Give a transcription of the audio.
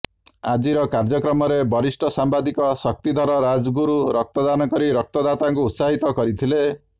ଆଜିର କାର୍ଯ୍ୟକ୍ରମରେ ବରିଷ୍ଠ ସାମ୍ବାଦିକ ଶକ୍ତିଧର ରାଜଗୁରୁ ରକ୍ତଦାନ କରି ରକ୍ତଦାତାଙ୍କୁ ଉସାହିତ କରିଥିଲେ